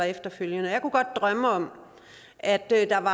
efterfølgende jeg kunne godt drømme om at